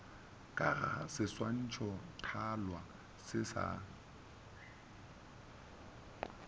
ka ga seswantšhothalwa se sa